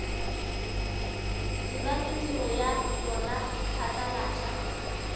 dira mediro ya yona phatlalatša